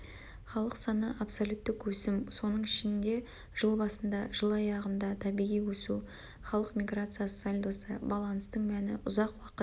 халық саны абсолюттік өсім соның ішінде жыл басында жыл аяғында табиғи өсу халық миграциясы сальдосы баланстың мәні ұзақ уақыт